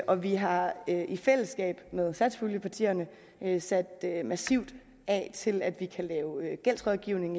og vi har i fællesskab med satspuljepartierne sat massivt af til at vi kan lave gældsrådgivning